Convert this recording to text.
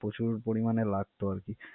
প্রচুর পরিমানে লাগত।